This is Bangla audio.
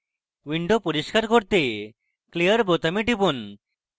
window পরিষ্কার করতে clear বোতামে টিপুন